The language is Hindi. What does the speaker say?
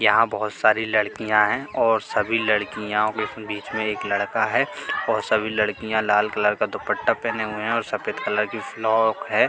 यहां बहोत सारी लड़कियां हैं और सभी लड़कियों के बीच में एक लड़का है और सभी लड़कियां लाल कलर का दुपट्टा पहने है सफेद कलर और फ्रॉक है।